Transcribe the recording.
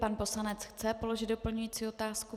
Pan poslanec chce položit doplňující otázku.